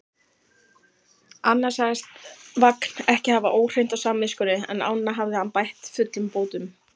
Annað sagðist Vagn ekki hafa óhreint á samviskunni, en ána hafði hann bætt fullum bótum.